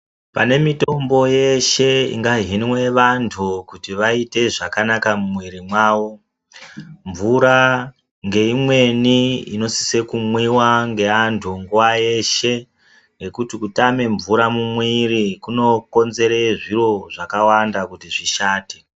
Pane mitombo yeshe ingahinwe vantu kuti vaite zvakanaka mumwiri mwavo , mnvura ngeimweni inosisise kumwiwa ngevantu nguwa yeshe ngekuti kutame mnvura mumwiri kunokonzera zviro zvakawanda kuti zvishate.